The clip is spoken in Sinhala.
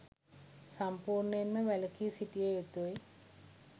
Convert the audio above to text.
සම්පූර්ණයෙන්ම වැළකී සිටිය යුතුය.